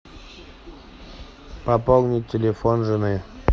пополнить телефон жены